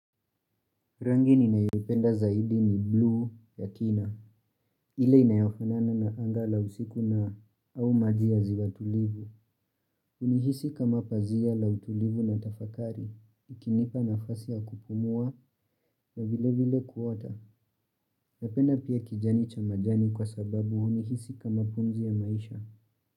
Rangi ninayoipenda zaidi ni blue ya kina. Ile inayofanana na anga la usiku na au maji ya ziwa tulivu. Hunihisi kama pazia la utulivu na tafakari. Ikinipa nafasi ya kupumua na vile vile kuota. Napenda pia kijani cha majani kwa sababu hunihisi kama pumzi ya maisha.